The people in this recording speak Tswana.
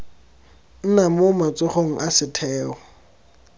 nna mo matsogong a setheo